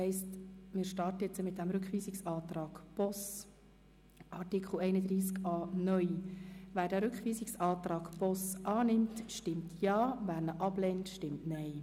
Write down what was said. Wer dem Rückweisungsantrag Boss zustimmt, stimmt Ja, wer diesen ablehnt, stimmt Nein.